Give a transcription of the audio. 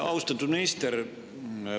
Austatud minister!